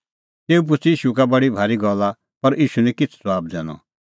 तेऊ पुछ़ी ईशू का बडी भारी गल्ला पर ईशू निं किछ़ ज़बाब दैनअ